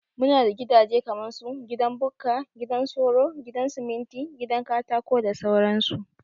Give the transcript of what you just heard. Muna da gidaje kaman su, gidan Bukka, gidan soro, gidan siminti, gidan Katako da sauran su